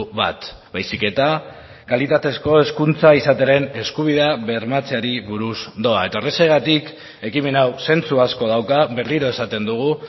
bat baizik eta kalitatezko hezkuntza izatearen eskubidea bermatzeari buruz doa eta horrexegatik ekimen hau zentzu asko dauka berriro esaten dugu